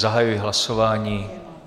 Zahajuji hlasování.